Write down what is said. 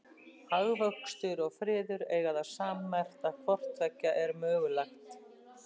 Hagvöxtur og friður eiga það sammerkt að hvort tveggja er mögulegt.